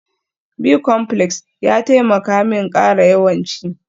Bicomplex ya taimaka min ƙara yawan ci